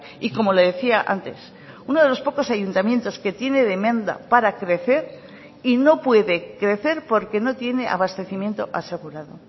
y como le decía antes uno de los pocos ayuntamientos que tiene demanda para crecer y no puede crecer porque no tiene abastecimiento asegurado